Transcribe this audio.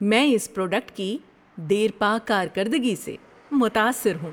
میں اس پروڈکٹ کی دیرپا کارکردگی سے متاثر ہوں۔